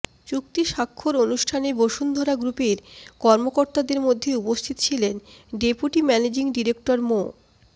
চুক্তি স্বাক্ষর অনুষ্ঠানে বসুন্ধরা গ্রুপের কর্মকর্তাদের মধ্যে উপস্থিত ছিলেন ডেপুটি ম্যানেজিং ডিরেক্টর মো